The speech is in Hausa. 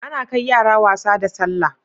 Ana kai yara wasa da sallah